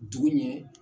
Dugu ɲɛ